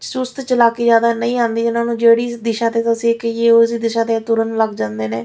ਸੁਸਤ ਚਲਾਕੀ ਜ਼ਿਆਦਾ ਨਹੀਂ ਆਉਂਦੀ ਉਹਨਾਂ ਨੂੰ ਜਿਹੜੀ ਦਿਸ਼ਾ ਤੁਸੀਂ ਕਹੀਏ ਉਸ ਦਿਸ਼ਾ ਵਿੱਚ ਤੁਰਨ ਲੱਗ ਜਾਂਦੇ ਨੇ --